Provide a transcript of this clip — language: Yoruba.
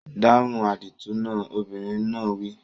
Dáhùn àdìtú náà! Obìnrin náà wí.